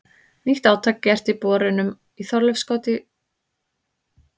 Nýtt átak gert í borunum í Þorleifskoti í Flóa með dýpri holum og betur fóðruðum.